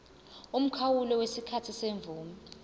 umkhawulo wesikhathi semvume